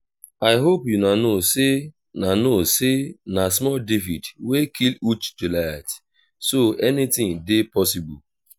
i hope una know say na know say na small david wey kill huge goliath so anything dey possible